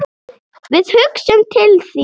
Við hugsum til þín.